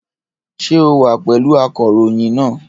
Ṣé o wà pẹ̀lú akọ̀ròyìn náà?